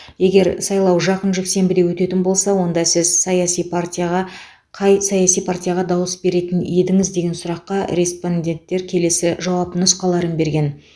егер сайлау жақын жексенбіде өтетін болса онда сіз қай саяси партияға саяси партияға дауыс беретін едіңіз сұрағына респонденттер келесі жауап нұсқаларын берді